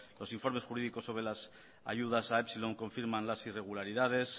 los informes jurídicos sobre las ayudas a epsilon confirman las irregularidades